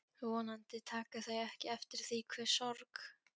Vonandi taka þau ekki eftir því hve sorg